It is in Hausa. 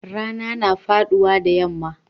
Rana na faduwa da yamma.